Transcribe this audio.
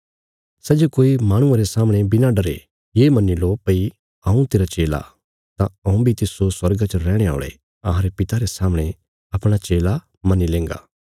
सै जे कोई माहणुआं रे सामणे बिणा डरे ये मन्नी लो भई हऊँ तेरा चेला तां हऊँ बी तिस्सो स्वर्गा च रैहणे औल़े अहांरे पिता रे सामणे अपणा चेला मन्नी लेंगा